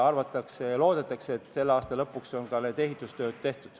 Arvatakse ja loodetakse, et selle aasta lõpuks on ka ehitustööd tehtud.